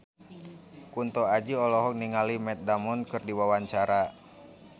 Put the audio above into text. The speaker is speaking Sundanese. Kunto Aji olohok ningali Matt Damon keur diwawancara